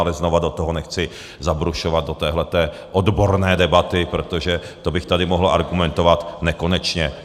Ale znovu do toho nechci zabrušovat, do této odborné debaty, protože to bych tady mohl argumentovat nekonečně.